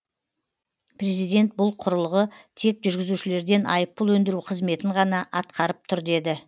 президент бұл құрылғы тек жүргізушілерден айыппұл өндіру қызметін ғана атқарып тұр деді